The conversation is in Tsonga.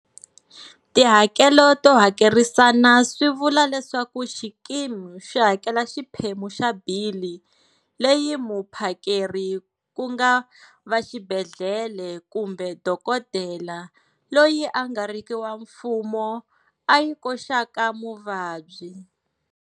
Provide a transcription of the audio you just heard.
Tihakelo to hakerisana swi vula leswaku xikimi xi hakela xiphemu xa bili leyi muphakeri ku nga va xibedhlele kumbe dokodela loyi a nga riki wa mfumo a yi koxaka muvabyi.